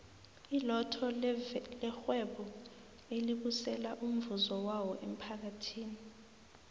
ilotto levhwebo elibusela umvuzo wawo emmphakathini